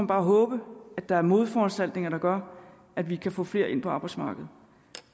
bare håbe at der er modforanstaltninger der gør at vi kan få flere ind på arbejdsmarkedet